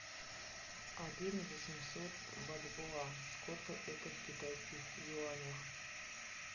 один восемьсот бальбоа сколько это в китайских юанях